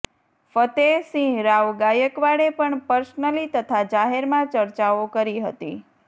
ફત્તેસિંહરાવ ગાયકવાડે પણ પર્સનલી તથા જાહેરમાં ચર્ચાઓ કરી હતી